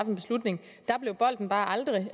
en beslutning der blev bolden bare aldrig